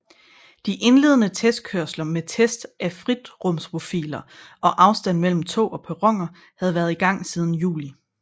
De indledende testkørsler med test af fritrumsprofiler og afstand mellem tog og perroner havde været i gang siden juli